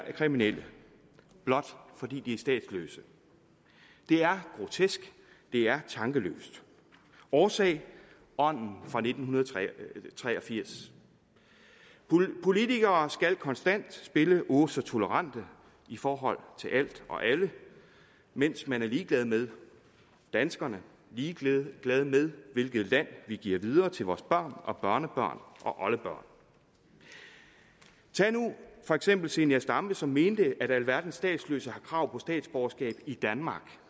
er kriminelle blot fordi de er statsløse det er grotesk det er tankeløst og årsagen er ånden fra nitten tre og firs politikere skal konstant spille åh så tolerante i forhold til alt og alle mens man er ligeglad med danskerne og ligeglad med hvilket land vi giver videre til vores børn og børnebørn og oldebørn tag nu for eksempel fru zenia stampe som mente at alverdens statsløse har krav på statsborgerskab i danmark